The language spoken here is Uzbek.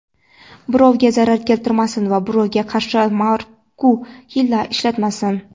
birovga zarar keltirmasin va birovga qarshi makru hiyla ishlatmasin.